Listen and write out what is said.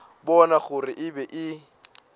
bona gore e be e